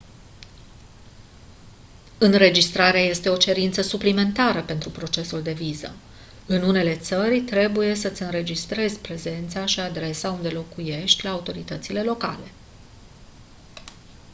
înregistrarea este o cerință suplimentară pentru procesul de viză în unele țări trebuie să îți înregistrezi prezența și adresa unde locuiești la autoritățile locale